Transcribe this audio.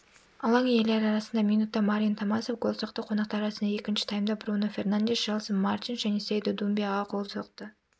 алаң иелері арасында минутта марин томасов гол соқты қонақтар арасында екінші таймда бруно фернандеш желсон мартинш және сейду думбия гол соқты